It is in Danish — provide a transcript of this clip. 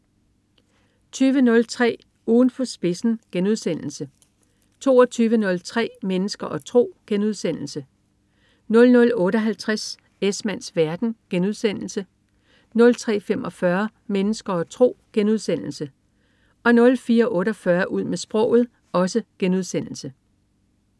20.03 Ugen på spidsen* 22.03 Mennesker og tro* 00.58 Esmanns verden* 03.45 Mennesker og tro* 04.48 Ud med sproget*